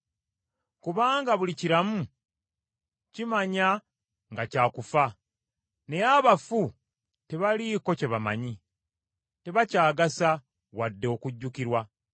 Kubanga buli kiramu kimanya nga kya kufa, naye abafu tebaliiko kye bamanyi: tebakyagasa wadde okujjukirwa.